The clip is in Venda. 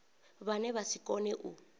vhane vha si kone u